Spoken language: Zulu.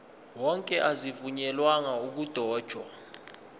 wonke azivunyelwanga ukudotshwa